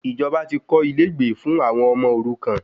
Ìjọba ti kọ́ ilé ìgbé fún àwọn ọmọ òrukan